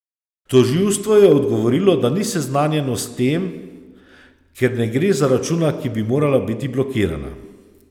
Tožilstvo je odgovorilo, da ni seznanjeno s tem, ker ne gre za računa, ki bi morala biti blokirana.